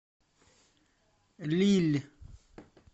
лилль